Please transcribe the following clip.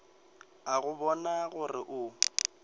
a go bona gore o